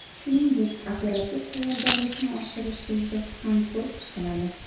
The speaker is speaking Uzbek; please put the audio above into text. Shuningdek, operativ tayyorgarlikni oshirish rejasi ham ko‘rib chiqiladi.